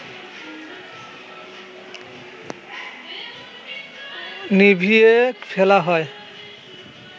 নিভিয়ে ফেলা হয়